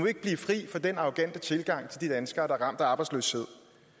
ikke blive fri for den arrogante tilgang til de danskere der er ramt af arbejdsløshed